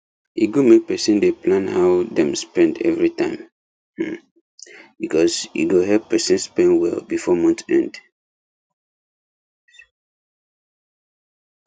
e good make person dey plan how dem spend everytime um becsuase e go help person spend well before month end